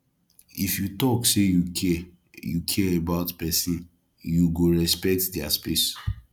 if you talk say you care you care about pesinn you go respect their space